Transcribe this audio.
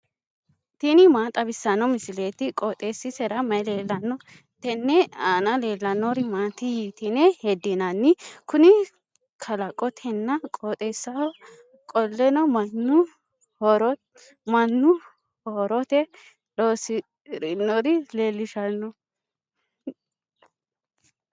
tini maa xawissanno misileeti? qooxeessisera may leellanno? tenne aana leellannori maati yitine heddinanni? Kuni kalaqotenna qooxeessaho qoleno mannu horote loosirinore leellishanno.